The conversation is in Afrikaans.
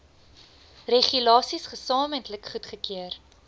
regulasies gesamentlik goedgekeur